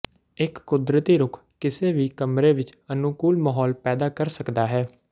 ਇੱਕ ਕੁਦਰਤੀ ਰੁੱਖ ਕਿਸੇ ਵੀ ਕਮਰੇ ਵਿੱਚ ਅਨੁਕੂਲ ਮਾਹੌਲ ਪੈਦਾ ਕਰ ਸਕਦਾ ਹੈ